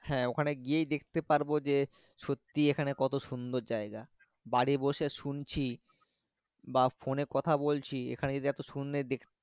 হ্যাঁ ওখান গিয়েই দেখতে পারবো যে সত্যি এখানে কত সুন্দর যাইগা বাড়ি বসে শুনছি বা phone এ কথা বলছি এখানে এত সুন্দর দেখতে।